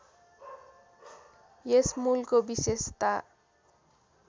यस मूलको विशेषता